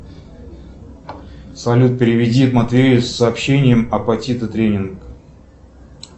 салют переведи матвею с сообщением апатиты тренинг